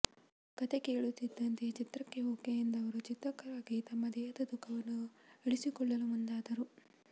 ಕಥೆ ಕೇಳುತ್ತಿದ್ದಂತೆಯೇ ಚಿತ್ರಕ್ಕೆ ಓಕೆ ಎಂದ ಅವರು ಚಿತ್ರಕ್ಕಾಗಿ ತಮ್ಮ ದೇಹದ ತೂಕವನ್ನು ಇಳಿಸಿಕೊಳ್ಳಲು ಮುಂದಾದರು